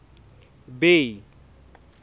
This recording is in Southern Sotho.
bay